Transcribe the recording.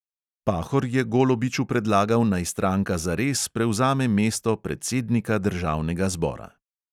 Pahor je golobiču predlagal, naj stranka zares prevzame mesto predsednika državnega zbora.